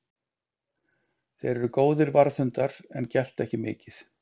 Þeir eru góðir varðhundar en gelta ekki mikið.